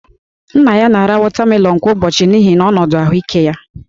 Nna ya na-ara wọtamelọnụ kwa ụbọchị n'ihi ọnọdụ ahụike ya